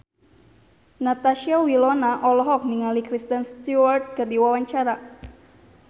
Natasha Wilona olohok ningali Kristen Stewart keur diwawancara